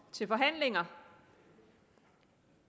til forhandlinger